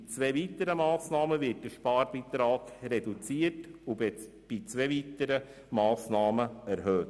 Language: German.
Bei zwei weiteren Massnahmen wird der Sparbeitrag reduziert und bei wiederum zwei weiteren Massnahmen erhöht.